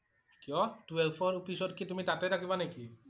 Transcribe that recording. কিয়? twelve ৰ পিছত কি তুমি তাতেই থাকিবা নেকি?